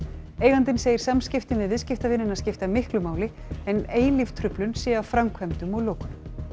eigandinn segir samskiptin við viðskiptavinina skipta miklu máli en eilíf truflun sé af framkvæmdum og lokunum